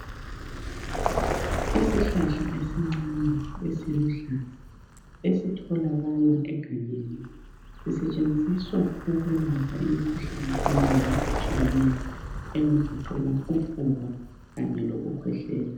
Isihlahla esincane esiluhlaza ezitholakala egangeni sisetshenziswa ukwelapha imikhuhlane eminengi etshiyeneyo engagoqela ufuba kanye lokukhwehlela.